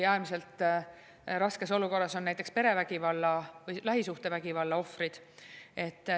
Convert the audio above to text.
Äärmiselt raskes olukorras on näiteks perevägivalla, lähisuhtevägivalla ohvrid.